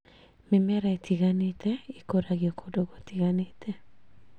Mĩmera ĩtiganĩte ĩkũragio kũndũ gũtiganĩte